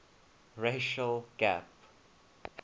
racial gap